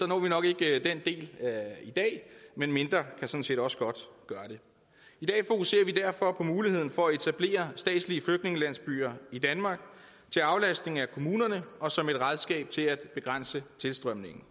når vi nok ikke den del i dag men mindre kan sådan set også godt gøre det i dag fokuserer vi derfor på muligheden for at etablere statslige flygtningelandsbyer i danmark til aflastning af kommunerne og som et redskab til at begrænse tilstrømningen